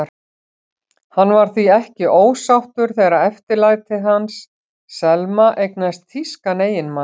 Hann var því ekki ósáttur þegar eftirlætið hans, Selma, eignaðist þýskan eiginmann.